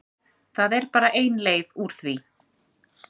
Það er bara ein leið úr því.